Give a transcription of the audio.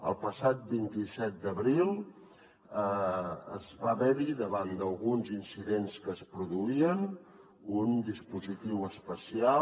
el passat vint set d’abril va haver hi davant d’alguns incidents que es produïen un dispositiu especial